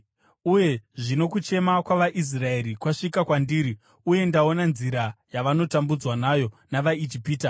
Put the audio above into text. Uye zvino kuchema kwavaIsraeri kwasvika kwandiri, uye ndaona nzira yavanotambudzwa nayo navaIjipita.